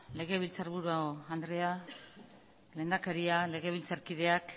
legebiltzarburu andrea lehendakaria legebiltzarkideak